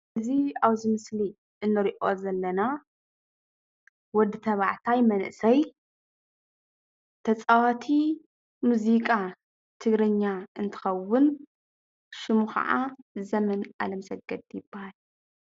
እዚ አብዚ ምስሊ እንሪኦ ዘለና ወዲ ተባዕታይ መንእሰይ ተፃዋቲ ሙዚቃ ትግርኛ እንትከውን ሹሙ ከዓ ዘመን አለምሰገድ ይበሃል፡፡